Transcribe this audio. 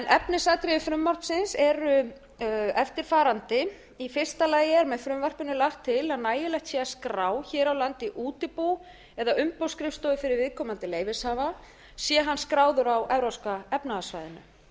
efnisatriði frumvarpsins eru eftirfarandi í fyrsta lagi er með frumvarpinu lagt til að nægilegt sé að skrá hér á landi útibú eða umboðsskrifstofu fyrir viðkomandi leyfishafa sé hann skráður á evrópska efnahagssvæðinu